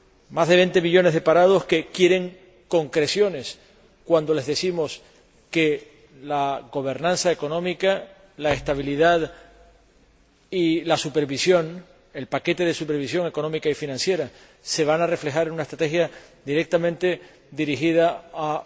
Más de 20 millones de parados que quieren concreciones cuando les decimos que la gobernanza económica, la estabilidad y la supervisión el paquete de supervisión económica y financiera se van a reflejar en una estrategia directamente dirigida a